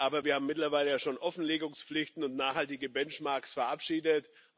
Aber wir haben mittlerweile ja schon Offenlegungspflichten und nachhaltige Benchmarks verabschiedet.